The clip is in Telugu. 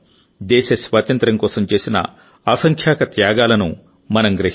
దేశ స్వాతంత్ర్యం కోసం చేసిన అసంఖ్యాక త్యాగాలను మనం గ్రహిస్తాం